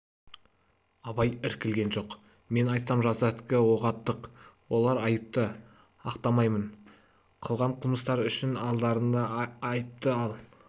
абай іркілген жоқ мен айтсам жастардікі оғаттық олар айыпты ақтамаймын қылған қылмыстары үшін алдарында айыпты ал